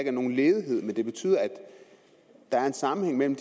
er nogen ledighed men det betyder at der er en sammenhæng mellem